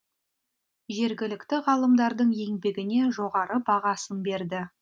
жергілікті ғалымдардың еңбегіне жоғары бағасын берді